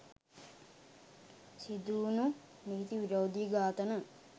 සිදුවුනු නීති විරෝධී ඝාතන